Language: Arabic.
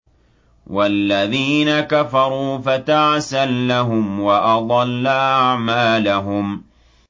وَالَّذِينَ كَفَرُوا فَتَعْسًا لَّهُمْ وَأَضَلَّ أَعْمَالَهُمْ